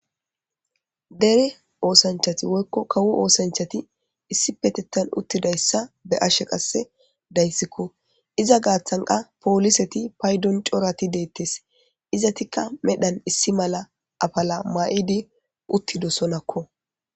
dere oosanchati woykko kawo oosanchati issipetettan uttidayssa be7ashe qasse dayssikko iza gaaththanqa pooliseti paydon corati deettes izatikka medhan issi mala afala maa7idi uttidosonakko